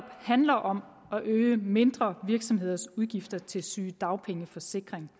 handler om at øge mindre virksomheders udgifter til sygedagpengeforsikring